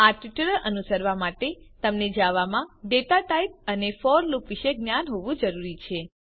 આ ટ્યુટોરીયલ અનુસરવા માટે તમને જાવામાં ડેટા ટાઇપ અને ફોર લુપ વિષે જ્ઞાન હોવું જરૂરી છે